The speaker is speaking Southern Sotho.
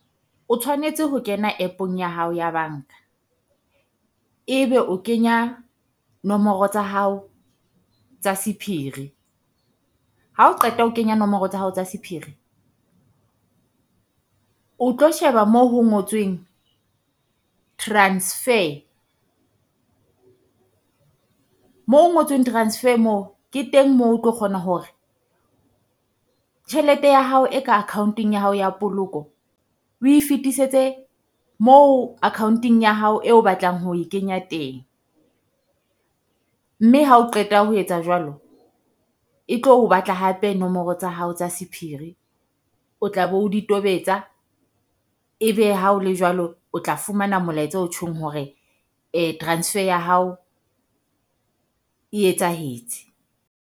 O tshwanetse ho kena App-ong ya hao ya banka e be o kenya nomoro tsa hao tsa sephiri. Ha o qeta ho kenya nomoro tsa hao tsa sephiri, o tlo sheba mo ho ngotsweng transfer. Mo ho ngotsweng transfer moo, ke teng moo o tlo kgona hore tjhelete ya hao e ka account-eng ya hao ya poloko, o e fitisetse moo account-eng ya hao eo batlang ho e kenya teng, mme hao qeta ho etsa jwalo, e tlo o batla hape nomoro tsa hao tsa sephiri. O tla bo di tobetsa ebe hao le jwalo o tla fumana molaetsa o tjhong hore transfer ya hao e etsahetse.